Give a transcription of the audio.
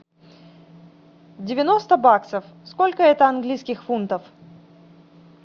девяносто баксов сколько это английских фунтов